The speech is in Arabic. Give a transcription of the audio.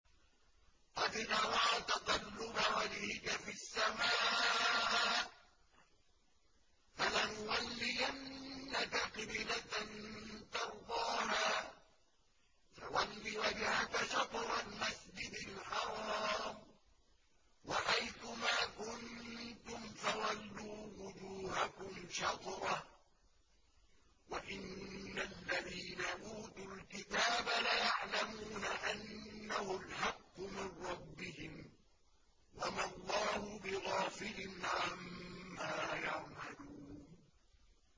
قَدْ نَرَىٰ تَقَلُّبَ وَجْهِكَ فِي السَّمَاءِ ۖ فَلَنُوَلِّيَنَّكَ قِبْلَةً تَرْضَاهَا ۚ فَوَلِّ وَجْهَكَ شَطْرَ الْمَسْجِدِ الْحَرَامِ ۚ وَحَيْثُ مَا كُنتُمْ فَوَلُّوا وُجُوهَكُمْ شَطْرَهُ ۗ وَإِنَّ الَّذِينَ أُوتُوا الْكِتَابَ لَيَعْلَمُونَ أَنَّهُ الْحَقُّ مِن رَّبِّهِمْ ۗ وَمَا اللَّهُ بِغَافِلٍ عَمَّا يَعْمَلُونَ